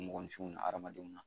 Mɔgɔninfinw na hadamadenw na